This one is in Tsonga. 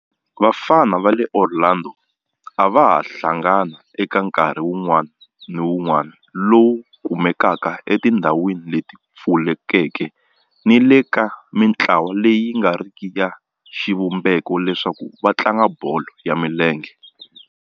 Vafana va le Orlando a va hlangana eka nkarhi wun'wana ni wun'wana lowu kumekaka etindhawini leti pfulekeke ni le ka mintlawa leyi nga riki ya xivumbeko leswaku va tlanga bolo ya milenge.